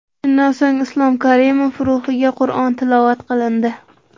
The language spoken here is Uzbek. Shundan so‘ng Islom Karimov ruhiga Qur’on tilovat qilindi.